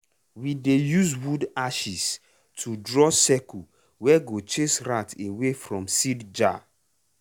we dey use wood ashes to draw circle wey go chase rat away from from seed jar.